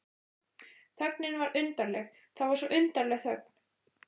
Þögnin var undarleg, það var svo undarleg þögn.